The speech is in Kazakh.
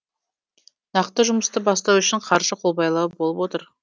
нақты жұмысты бастау үшін қаржы қолбайлау болып отыр